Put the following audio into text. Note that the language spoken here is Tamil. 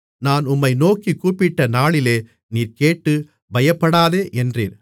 நான் உம்மை நோக்கிக் கூப்பிட்டநாளிலே நீர் கேட்டு பயப்படாதே என்றீர்